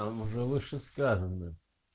там уже вышесказанным